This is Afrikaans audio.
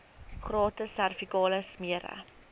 gratis servikale smere